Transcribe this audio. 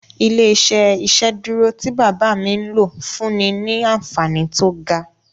Ilé-iṣẹ́ ìsedúró tí bàbá mi n lò fúnni ní anfààní tó ga